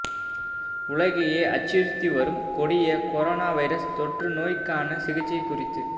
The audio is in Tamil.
உலகையே அச்சுறுத்தி வரும் கொடிய கொரோனா வைரஸ் தொற்றுநோய்க்கான சிகிச்சை குறித்து